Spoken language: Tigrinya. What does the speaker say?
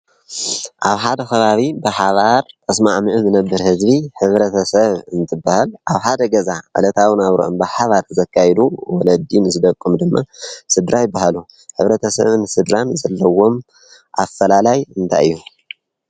ኣብ ሓደ ኸባቢ ብሓባር ተስማዕ ሚዑ ዘነብር ሕዝቢ ሕብረተ ሰብ እንትበህል ኣንትብ ሃደ ገዛ እለታውና ኣብ ሮኦም ብሓባድ ዘካይሉ ወለዲም ዘደቆም ድማ ስድራ ይ በሃሉ ኅብረተ ሰብ እንሥድራም ዘለዎም ኣፈላላይ እንታይ እዮ?